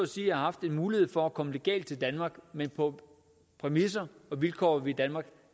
sige har haft en mulighed for at komme legalt til danmark men på præmisser og vilkår som vi i danmark